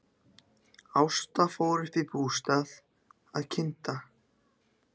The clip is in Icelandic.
Ásta fór upp í bústað að kynda.